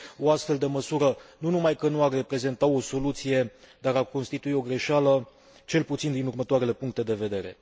O astfel de măsură nu numai că nu ar reprezenta o soluție, dar ar constitui o greșeală cel puțin din următoarele puncte de vedere.